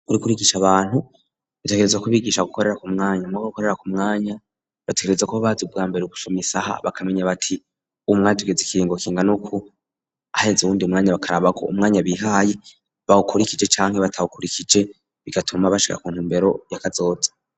Uriko urigisha abantu utegerezwa ku bigisha gukorera ku mwanya muruko gukorera ku mwanya batekerezwa kuba bazi bwa mbere gusoma isaha bakamenya bati uyumwanya tugeze ikiringo kingana uku haheze uwundi mwanya bakarabako umwanya bihaye bawukurikije canke batawukurikije bigatuma bashika ku ntumbero yakazoza.